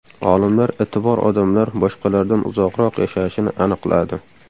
Olimlar iti bor odamlar boshqalardan uzoqroq yashashini aniqladi.